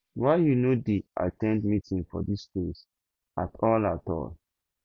why you no dey at ten d meeting for dis place at all at all